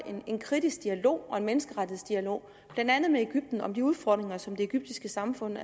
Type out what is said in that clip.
en kritisk dialog og en menneskerettighedsdialog blandt andet med egypten om de udfordringer som det egyptiske samfund